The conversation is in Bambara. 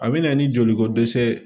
A bɛ na ni joliko dɛsɛ ye